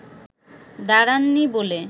দাঁড়াননি বলে